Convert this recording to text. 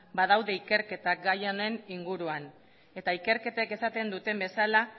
badaude ikerketak gai honen inguruan eta ikerketek esaten duten bezala